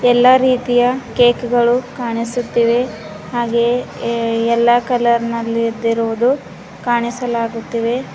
ಎಲ್ಲಾ ರೀತಿಯ ಕೇಕ್ ಗಳು ಕಾಣಿಸುತ್ತಿವೆ ಹಾಗೆಯೇ ಏ ಎಲ್ಲಾ ಕಲರ್ ನಲ್ಲಿ ಇದ್ದಿರುವುದು ಕಾಣಿಸಲಾಗುತ್ತಿವೆ.